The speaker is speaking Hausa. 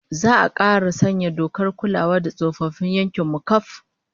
Za'a kara sanya dokar kulawa da tsofaffin yankin mu kaf